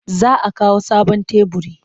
Za a kawo sabon teburi.